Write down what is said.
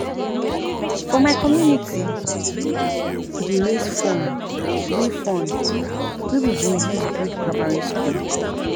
For my community, we dey raise fund wey fund wey we go use build primary school.